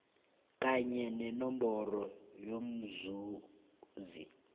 kanye nenomboro yomzuzi